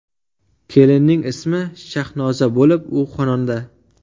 Kelinning ismi Shahnoza bo‘lib, u xonanda.